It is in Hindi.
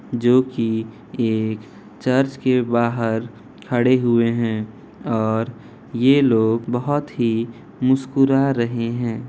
जो कि एक चर्च के बहार खड़े हुए हैं और ये लोग बहुत ही मुस्कुरा रहे हैं।